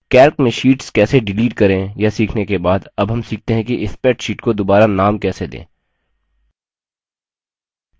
calc में sheets कैसे delete करें यह सीखने के बाद अब हम सीखते हैं कि spreadsheet को दुबारा नाम कैसे दें